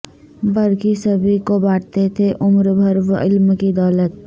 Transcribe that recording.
برقی سبھی کو بانٹتے تھے عمر بھر وہ علم کی دولت